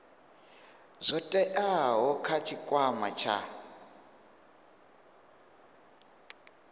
zwo teaho kha tshikwama tsha